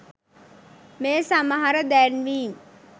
මේ සමහර දැන්වීම්